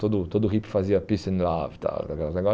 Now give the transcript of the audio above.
Todo todo hippie fazia peace and love tal.